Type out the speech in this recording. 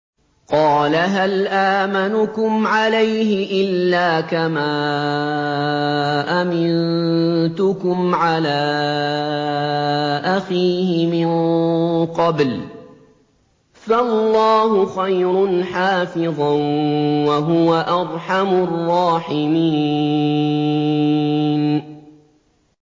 قَالَ هَلْ آمَنُكُمْ عَلَيْهِ إِلَّا كَمَا أَمِنتُكُمْ عَلَىٰ أَخِيهِ مِن قَبْلُ ۖ فَاللَّهُ خَيْرٌ حَافِظًا ۖ وَهُوَ أَرْحَمُ الرَّاحِمِينَ